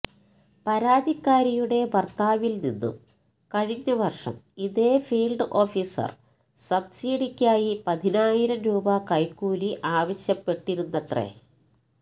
പരാതിക്കാരിയുടെ ഭര്ത്താവില്നിന്നും കഴിഞ്ഞവര്ഷം ഇതേ ഫീല്ഡ് ഓഫീസര് സബ്സിഡിക്കായി പതിനായിരം രൂപ കൈക്കൂലി ആവശ്യപ്പെട്ടിരുന്നത്രേ